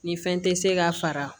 Ni fɛn tɛ se ka fara